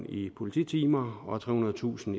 i polititimer og trehundredetusind